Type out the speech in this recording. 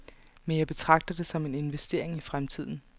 Men jeg betragter det som en investering i fremtiden.